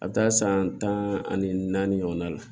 A bɛ taa san tan ani naani ɲɔgɔnna la